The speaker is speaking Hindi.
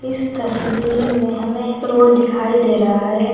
इस तस्वीर में हमें एक रोड दिखाई दे रहा है।